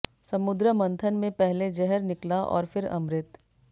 समुद्र मंथन में पहले जहर निकला और फिर अमृत